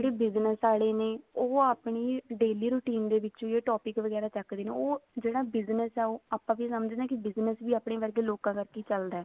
ਜਿਹੜੇ business ਆਲੇ ਨੇ ਉਹ ਆਪਣੀ daily routine ਦੇ ਵਿੱਚ ਵੀ ਇਹ topic ਵਗੈਰਾ ਚੱਕਦੇ ਨੇ ਉਹ ਜਿਹੜਾ business ਹੈ ਉਹ ਆਪਾਂ ਕੀ ਸਮਝਦੇ ਹਾਂ business ਵੀ ਆਪਾਂ ਵਰਗੇ ਲੋਕਾਂ ਕਰਕੇ ਹੀ ਚੱਲਦਾ